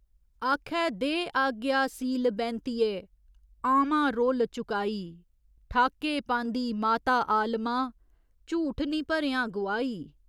आखै दे आज्ञा सीलबैंतिये, आमां रोल चुकाई ठाके पांदी माता आलमां, झूठ निं भरेआं गुआही।